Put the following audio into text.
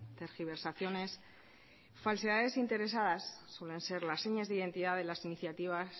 tergiversaciones falsedades interesadas suelen ser las señas de identidad de las iniciativas